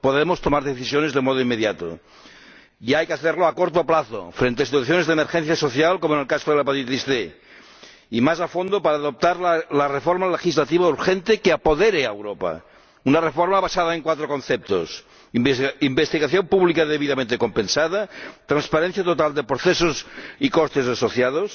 Podemos tomar decisiones de modo inmediato. Y hay que hacerlo a corto plazo frente a situaciones de emergencia social, como en el caso de la hepatitis C, y más a fondo para adoptar la reforma legislativa urgente que apodere a Europa, una reforma basada en cuatro conceptos investigación pública debidamente compensada, transparencia total de procesos y costes asociados,